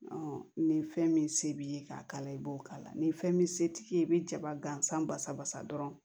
ni fɛn min se b'i ye k'a k'a la i b'o k'a la ni fɛn min se tɛ ye i bɛ jaba gansan basa basa dɔrɔn